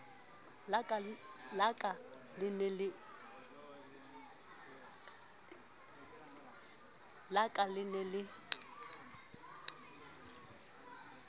la ka le ne le